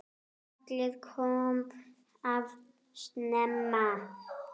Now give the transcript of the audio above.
Kallið kom of snemma.